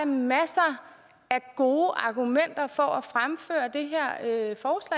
masser af gode argumenter for